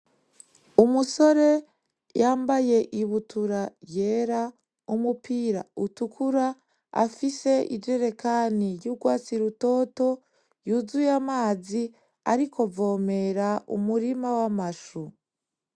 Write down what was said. Umusore yambaye ibutura yera umupira utukura afise ijerikani y'urwatsi rutoto yuzuye amazi ari kuvomera umurima w'amashu.